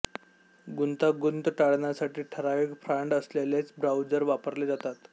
गुंतागुंत टाळण्यासाठी ठराविक फॉण्ड असलेलेच ब्राऊझर वापरले जातात